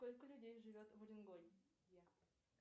сколько людей живет в уренгое